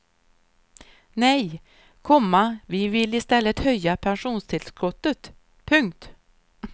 Nej, komma vi vill i stället höja pensionstillskottet. punkt